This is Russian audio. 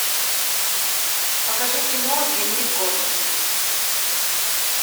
покажи кино дневник горничной